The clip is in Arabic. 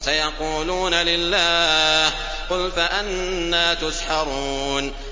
سَيَقُولُونَ لِلَّهِ ۚ قُلْ فَأَنَّىٰ تُسْحَرُونَ